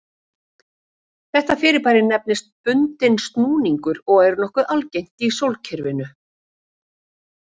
Þetta fyrirbæri nefnist bundinn snúningur og er nokkuð algengt í sólkerfinu.